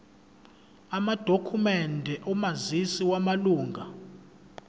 amadokhumende omazisi wamalunga